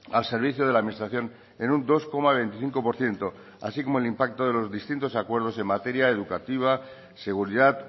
al servicio de la administración en un dos coma veinticinco por ciento así como el impacto de los distintos acuerdos en materia educativa seguridad